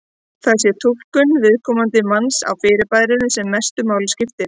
Það sé túlkun viðkomandi manns á fyrirbærinu sem mestu máli skipti.